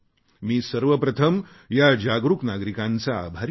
मी सर्वप्रथम या जागरुक नागरिकांचा आभारी आहे